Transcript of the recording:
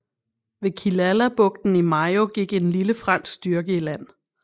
Ved Killalabugten i Mayo gik en lille fransk styrke i land